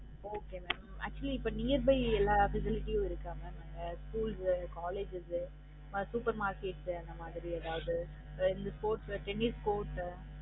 Okay mam actually இப்ப near by எல்லா speciality உம் இருக்காங்க இன்னாங்க ஸ்கூல்ஸ், காலேஜ்ஸ் அஹ் supermarket அந்த மாதிரி எதாவது வேற sports tennis court